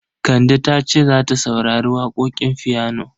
Kande ta ce za ta saurari waƙoƙin fiyano.